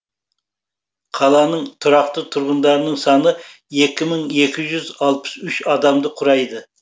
қаланың тұрақты тұрғындарының саны екі мың екі жүз алпыс үш адамды құрайды